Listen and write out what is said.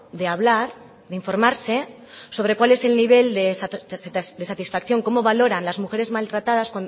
de hablar de informarse sobre cuál es el nivel de satisfacción cómo valoran las mujeres maltratadas